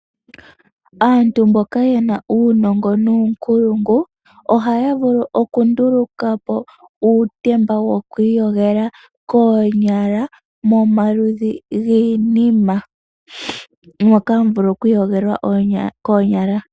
Aantu mboka yena uunongo nuunkulungu ohaya vulu okundulukapo uutemba woku iyogela koonyala moka hamu vulu oku iyogela koonyala.